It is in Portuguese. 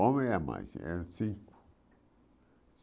Homem é mais, eram cinco.